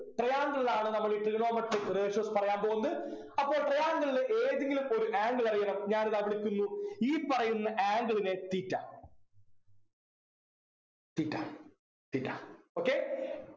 triangle ലാണ് നമ്മള് ഇ Trigonometric ratios പറയാൻ പോകുന്നത് അപ്പോൾ triangle ലു ഏതെങ്കിലും ഒരു angle അറിയണം ഞാനിതാ കൊടുക്കുന്നു ഈ പറയുന്ന angle നെ theta theta theta okay